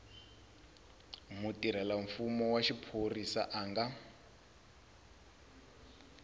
mutirhelamfumo wa xiphorisa a nga